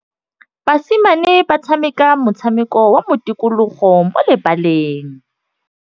Basimane ba tshameka motshameko wa modikologô mo lebaleng.